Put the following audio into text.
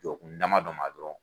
Jɔkun dama dɔ ma dɔrɔn